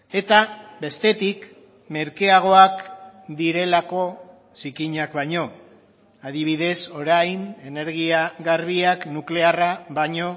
eta bestetik merkeagoak direlako zikinak baino adibidez orain energia garbiak nuklearra baino